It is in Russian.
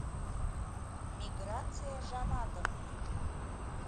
миграция жаматовна